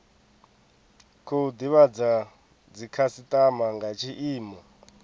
khou divhadza dzikhasitama nga tshiimo